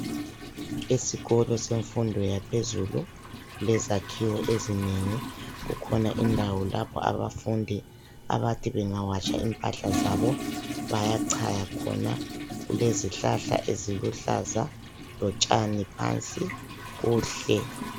Esikolo semfundo yaphezulu kulezakhiwo ezinengi. Kukhona indawo lapho abafundi abathi bengawatsha impahla zabo bayachaya khona. Kulezihlahla eziluhlaza lotshani phansi. Kuhle.